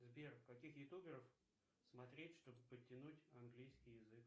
сбер каких ютуберов смотреть чтобы подтянуть английский язык